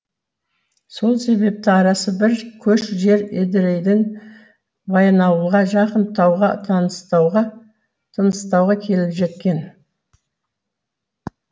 сол себепті арасы бір көш жер едірейден баянауылға жақын тауға тыныстауға келіп жеткен